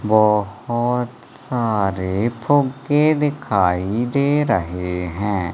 बहोत सारे फुग्गे दिखाई दे रहे है।